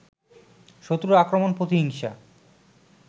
শত্রুর আক্রমণ, প্রতিহিংসা